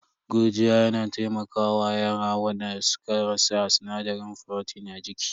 Gurjiya yana taimaka wa yara wanda suka rasa sinadarin furotin a jiki.